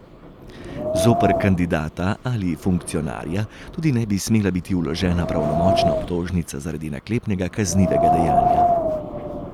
Zoper kandidata ali funkcionarja tudi ne bi smela biti vložena pravnomočna obtožnica zaradi naklepnega kaznivega dejanja.